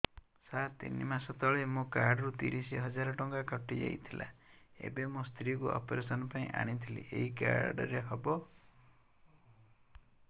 ସାର ତିନି ମାସ ତଳେ ମୋ କାର୍ଡ ରୁ ତିରିଶ ହଜାର ଟଙ୍କା କଟିଯାଇଥିଲା ଏବେ ମୋ ସ୍ତ୍ରୀ କୁ ଅପେରସନ ପାଇଁ ଆଣିଥିଲି ଏଇ କାର୍ଡ ରେ ହବ